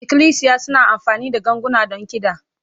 Ikklisiya suna amfani da ganguna don kiɗa.